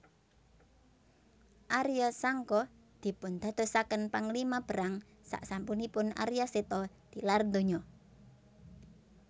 Arya Sangka dipundadosaken panglima perang saksampunipun Arya Seta tilar donya